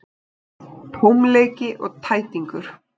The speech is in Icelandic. Tómleiki og tætingur.